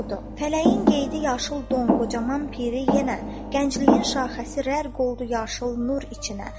Fələyin qeydi yaşıl don, qocaman piri yenə, gəncliyin şaxəsi rər qoldu yaşıl nur içinə.